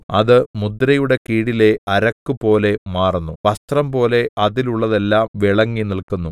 അത് മുദ്രയുടെ കീഴിലെ അരക്കുപോലെ മാറുന്നു വസ്ത്രംപോലെ അതിലുള്ളതെല്ലാം വിളങ്ങിനില്‍ക്കുന്നു